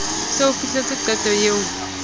se o fihletse qeto eo